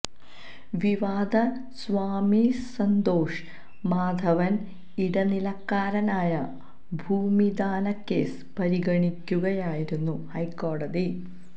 വിവാദ സ്വാമി സ്ന്തോഷ് മാധവന് ഇടനിലക്കാരനായ ഭൂമിദാനക്കേസ് പരിഗണിക്കുകയായിരുന്നു ഹൈക്കോടതി